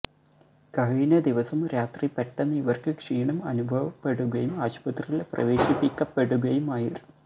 കഴിഞ്ഞ ദിവസം രാത്രി പെട്ടെന്ന് ഇവര്ക്ക് ക്ഷീണം അനുഭവപ്പെടുകയും ആശുപത്രിയില് പ്രവേശിപ്പിക്കപ്പെടുകയുമായിരുന്നു